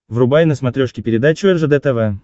врубай на смотрешке передачу ржд тв